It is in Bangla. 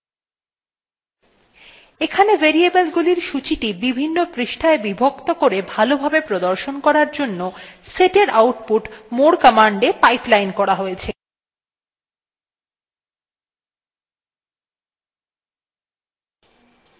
এখানে variable গুলির সূচীটি বিভিন্ন পৃষ্ঠায় বিভক্ত করে ভালো ভাবে প্রদর্শন করার জন্য setএর output moreকমান্ডa pipeline করা হয়েছে